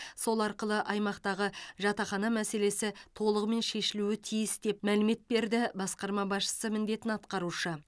сол арқылы аймақтағы жатақхана мәселесі толығымен шешілуі тиіс деп мәлімет берді басқарма басшысы міндетін атқарушы